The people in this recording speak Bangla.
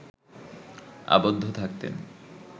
আবদ্ধ থাকতেন